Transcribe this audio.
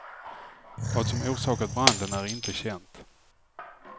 Vad som orsakat branden är inte känt.